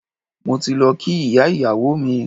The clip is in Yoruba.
Mo ti lọ kí ìyá ìyàwó mi.